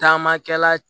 Taamakɛla